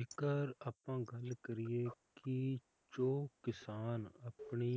ਇੱਕ ਆਪਾਂ ਗੱਲ ਕਰੀਏ ਜੋ ਕਿਸਾਨ ਆਪਣੀ